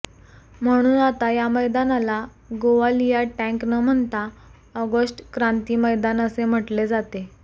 म्हणून आता या मैदानाला गोवालिया टँक न म्हणता ऑगष्ट क्रांती मैदान असे म्हटले जाते